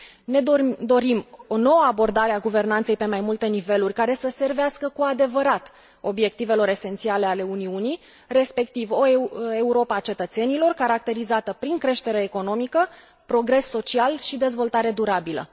Ne dorim o nouă abordare a guvernanței pe mai multe niveluri, care să servească cu adevărat obiectivelor esențiale ale Uniunii, respectiv o Europă a cetățenilor, caracterizată prin creștere economică, progres social și dezvoltare durabilă.